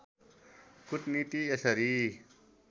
कुटनीति यसरी